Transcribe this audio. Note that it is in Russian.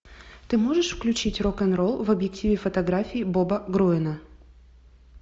ты можешь включить рок н ролл в объективе фотографии боба груэна